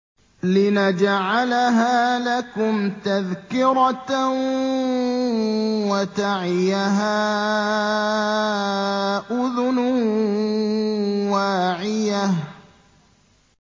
لِنَجْعَلَهَا لَكُمْ تَذْكِرَةً وَتَعِيَهَا أُذُنٌ وَاعِيَةٌ